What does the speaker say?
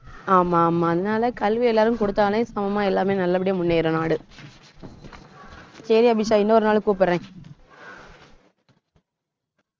ஆமா, ஆமா அதனால கல்வி எல்லாருக்கும் குடுத்தாலே சமமா எல்லாமே நல்லபடியா முன்னேறும் நாடு சரி அபிஷா இன்னொரு நாள் கூப்பிடறேன்